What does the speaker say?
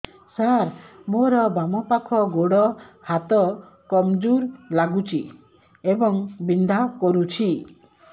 ସାର ମୋର ବାମ ପାଖ ଗୋଡ ହାତ କମଜୁର ଲାଗୁଛି ଏବଂ ବିନ୍ଧା କରୁଛି